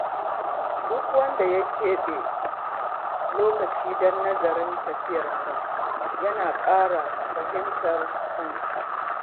Duk wanda ya keɓe lokaci don nazarin tafiyarsa, yana ƙara fahimtar kansa.